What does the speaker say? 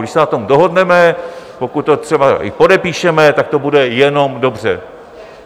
Když se na tom dohodneme, pokud to třeba i podepíšeme, tak to bude jenom dobře.